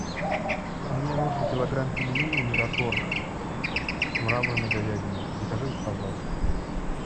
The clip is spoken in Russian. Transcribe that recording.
мне нужен килограмм пельменей мираторг с мраморной говядиной закажи пожалуйста